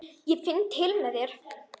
Ég finn til með þér.